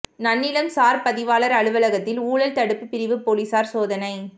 நன்னிலம் சாா் பதிவாளா் அலுவலகத்தில் ஊழல் தடுப்பு பிரிவு போலீஸாா் சோதனை